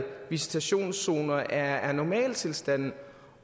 visitationszoner er normaltilstande